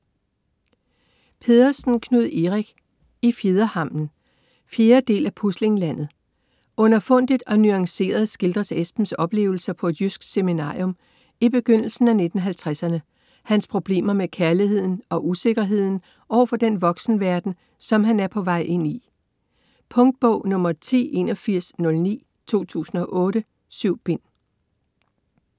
Pedersen, Knud Erik: I fjederhammen 4. del af Puslinglandet. Underfundigt og nuanceret skildres Esbens oplevelser på et jysk seminarium i begyndelsen af 1950'erne, hans problemer med kærligheden og usikkerheden overfor den voksenverden, som han er på vej ind i. Punktbog 108109 2008. 7 bind.